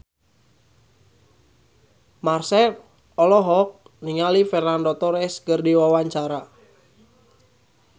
Marchell olohok ningali Fernando Torres keur diwawancara